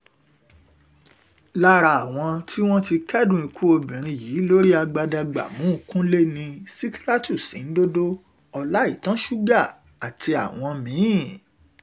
lára àwọn tí wọ́n ti kẹ́dùn ikú obìnrin yìí lórí agbadagbààmú kúnlé ni sìkírátù sìǹdòdó ọláìtàn sugar àtàwọn mí-ín